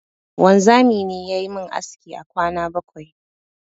Wanzami ne yayi mun aski a kwana bakwai